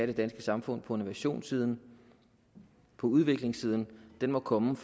det danske samfund på innovationssiden på udviklingssiden må komme